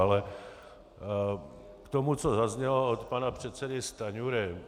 Ale k tomu, co zaznělo od pana předsedy Stanjury.